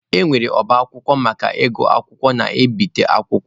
E nwere ọba akwụkwọ maka ịgụ akwụkwọ na ibite akwụkwọ.